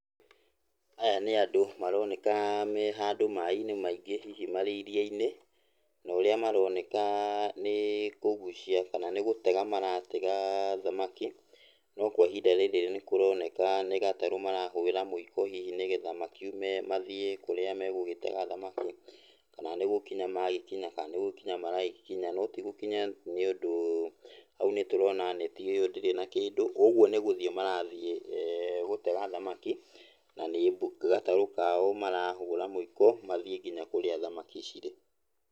Aya nĩ andũ maroneka me handũ maĩ-inĩ maingĩ hihi marĩ iria-inĩ, na ũrĩa maroneka nĩkũgucia kana nĩ gũtega maratega thamaki, no kwa ihinda rĩrĩ nĩkũroneka nĩ gatarũ marahũra mũiko hihi nĩgetha makiume mathiĩ kũrĩa megũgĩtega thamaki, kana nĩgũkinya magĩkinya kana nĩgũkinya maragĩkinya no tigũkinya nĩũndũ hau nĩtũrona neti ĩyo ndĩrĩ na kĩndũ, ũguo nĩ gũthiĩ marathiĩ gũtega thamaki, na nĩ gatarũ kao marahũra mũiko mathiĩ kinya kũrĩa thamaki cirĩ.